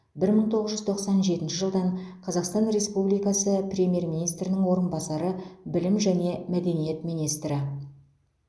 бір мың тоғыз жүз тоқсан жетінші жылдан қазақстан республикасы премьер министрінің орынбасары білім және мәдениет министрі